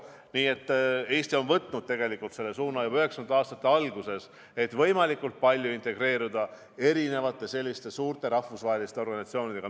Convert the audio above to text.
Nii et Eesti on võtnud juba 90. aastate alguses suuna integreeruda võimalikult palju erinevate suurte rahvusvaheliste organisatsioonidega.